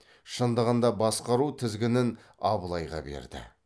шындығында басқару тізгінін абылайға берді